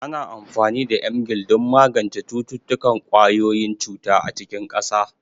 Ana amfani da Emgyl don magance cututtukan ƙwayoyin cuta a cikin ƙasa.